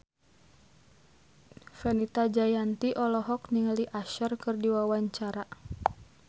Fenita Jayanti olohok ningali Usher keur diwawancara